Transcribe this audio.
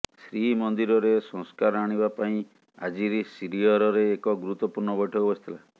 ଶ୍ରୀମନ୍ଦିରରେ ସଂସ୍କାର ଆଣିବା ପାଇଁ ଆଜି ଶ୍ରୀଅରରେ ଏକ ଗୁରୁତ୍ୱପୂର୍ଣ୍ଣ ବୈଠକ ବସିଥିଲା